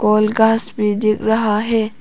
औल आकाश भी दिख रहा है।